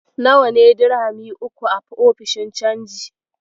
Nawa ne dirhami uku a ofishin canji?